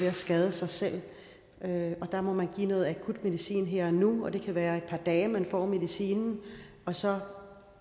at skade sig selv der der må man få noget akutmedicin her og nu det kan være i et par dage at man får medicinen og så